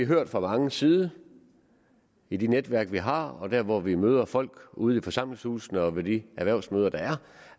hørt fra mange sider i de netværk vi har og der hvor vi møder folk ude i forsamlingshusene og ved de erhvervsmøder der er